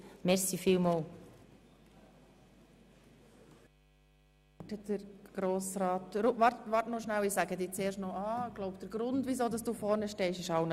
Kollega Rudin, du kannst dann im Protokoll lesen, dass ich keinen Namen genannt habe.